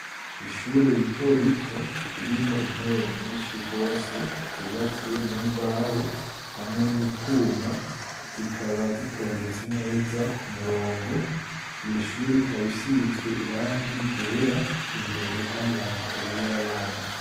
Ishure rito rito ririmo intebe nyinshi gwose zubatswe mu mbaho hamwe n'utwuma zikaba zitondetse neza ku murongo iyo shuri ikaba isizwe irangi ryera imbere hari amakaye y'abana.